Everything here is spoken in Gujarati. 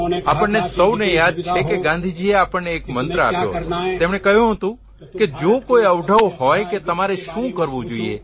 આપણને સૌને યાદ છે કે ગાંધીજીએ આપણને એક મંત્ર આપ્યો હતો તેમણે કહ્યું હતું કે જો કોઇ અવઢવ હોય કે તમારે શું કરવું જોઇએ